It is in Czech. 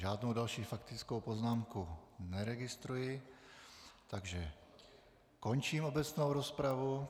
Žádnou další faktickou poznámku neregistruji, takže končím obecnou rozpravu.